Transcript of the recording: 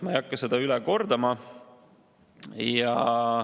Ma ei hakka seda üle kordama.